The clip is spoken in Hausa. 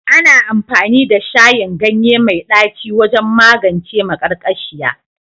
Ana amfani da shayin ganye mai ɗaci wajen magance maƙarƙashiya